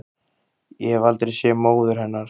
Ég hef aldrei séð móður hennar